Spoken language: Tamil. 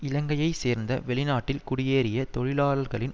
இலங்கையை சேர்ந்த வெளிநாட்டில் குடியேறிய தொழிலாளர்களின்